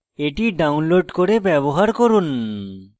এটি download করে ব্যবহার করুন